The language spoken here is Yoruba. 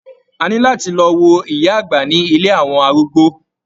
A ní láti lọ wo ìyá àgbà ní ilé àwọn arúgbó.